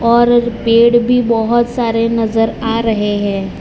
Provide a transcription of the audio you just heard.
और पेड़ भी बहुत सारे नजर आ रहे हैं।